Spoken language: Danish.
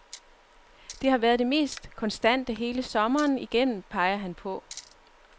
De har været de mest konstante hele sæsonen igennem, peger han på.